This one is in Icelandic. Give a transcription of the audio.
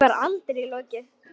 Því var aldrei lokið.